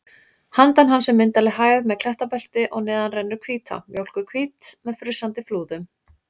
Handan hans er myndarleg hæð með klettabelti og neðar rennur Hvítá, mjólkurhvít með frussandi flúðum.